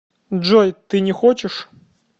джой ты не хочешь